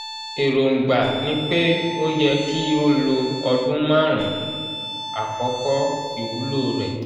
èròǹgbà ni pé ó yẹ kí ó lo ọdún márùn-ún - àkókò iwulo re